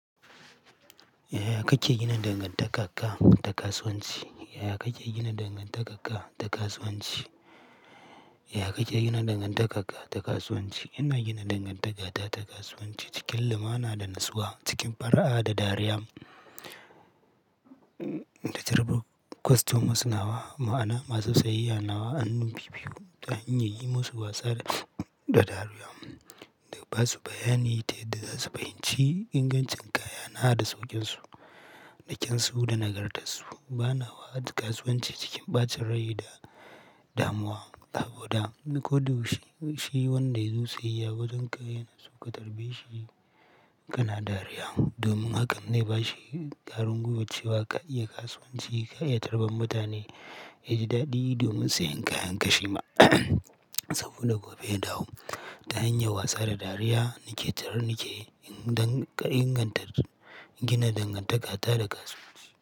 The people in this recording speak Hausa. Yaya kake gina dangantakar ka da kasuwanci? Yaya kake gina dangantaka da kasuwanci? Yaya kake gina dangantaka da kasuwanci? Ina gina dangantaka ta kasuwanci cikin lumana da natsuwa, cikin fara'a da dariya. Da jarabawar customers nawa, ma'ana masu sayayya nawa hannu bi biyu ta hanyar yi musu wasa da, da dariya. Da basu bayani ta yadda za su fahimci ingancin kaya na da saukinsu, da kyansu da nagartasu. Ba na wa kasuwanci cikin ɓacin rai da damuwa saboda ni ko da yaushi, shi wanda ya zo sayayya wajenka yana so ka tarbe shi kana dariya. Domin haka zai ba shi ƙarin gwiwar cewa ka iya kasuwanci, ka iya tarban mutane, ya ji daɗi domin sayen kayanka shi ma saboda gobe ya dawo. Ta hanyar wasa da dariya nake tarar nake in ka ingantar gina dangantaka ta da kasuwanci.